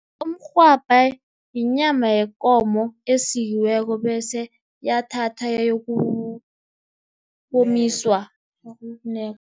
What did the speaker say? Umrhwabha yinyama yekomo esikiweko bese yathathwa yayokomiswa yayokunekwa.